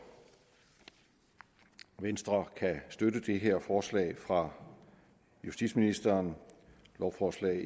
venstre kan støtte det her forslag fra justitsministeren lovforslag